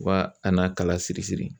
Wa a n'a kala siri siri